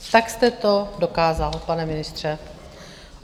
Tak jste to dokázal, pane ministře.